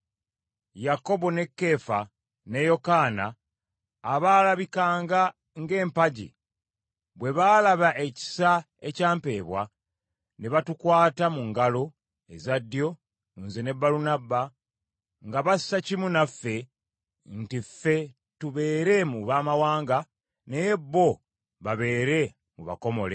Yakobo ne Keefa ne Yokaana abaalabikanga ng’empagi bwe baalaba ekisa ekya mpeebwa, ne batukwata mu ngalo eza ddyo nze ne Balunabba nga bassa kimu naffe nti ffe tubeere mu Bamawanga, naye bo babeere mu b’abakomole.